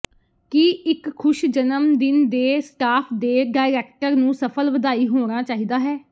ਕੀ ਇੱਕ ਖੁਸ਼ ਜਨਮ ਦਿਨ ਦੇ ਸਟਾਫ ਦੇ ਡਾਇਰੈਕਟਰ ਨੂੰ ਸਫਲ ਵਧਾਈ ਹੋਣਾ ਚਾਹੀਦਾ ਹੈ